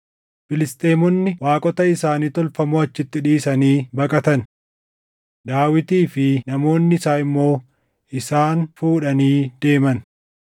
Filisxeemonni waaqota isaanii tolfamoo achitti dhiisanii baqatan; Daawitii fi namoonni isaa immoo isaan fuudhanii deeman.